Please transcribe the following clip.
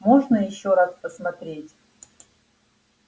можно ещё раз посмотреть